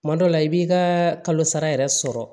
Kuma dɔ la i b'i ka kalo sara yɛrɛ sɔrɔ